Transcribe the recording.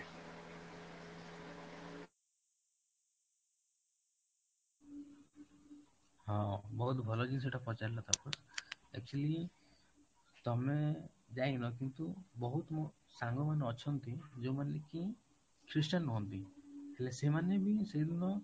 ହଁ, ବହୁତ ଭଲ ଜିନିଷ ଟା ପଚାରିଲ ତାପସ actually ତମେ ଯାଇନ କିନ୍ତୁ ବହୁତ ସାଙ୍ଗମାନେ ଅଛନ୍ତି ଯୋଉ ମାନେ କି christian ନୁହନ୍ତି ହେଲେ ସେମାନେ ବି ସେଇ ଦିନ